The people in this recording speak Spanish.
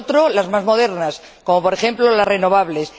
en otros, las más modernas, como, por ejemplo, las renovables.